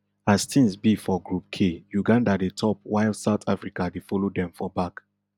as tins be for group k uganda dey top while south africa dey follow dem for back